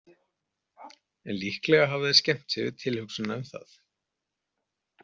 En líklega hafa þeir skemmt sér við tilhugsunina um það.